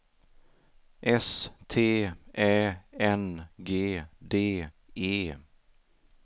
S T Ä N G D E